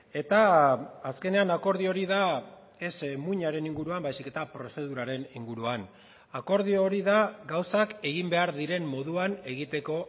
eta azkenean akordio hori da ez muinaren inguruan baizik eta prozeduraren inguruan akordio hori da gauzak egin behar diren moduan egiteko